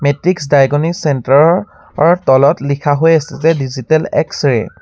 Matrix diagnosis centre ৰ অ তলত লিখা হৈ আছে যে ডিজিটেল এক্স-ৰে ।